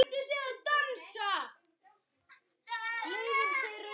Ég var sjö ára.